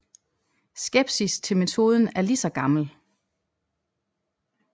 Skepsis til metoden er ligeså gammel